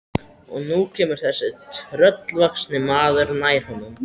Og nú kemur þessi tröllvaxni maður nær honum.